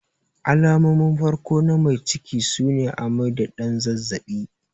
Alamomin farko na mai ciki sune amai da ɗan zazzabi.